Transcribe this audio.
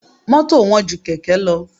Mọ́tò wọ́n ju Kẹ̀kẹ́ lọ.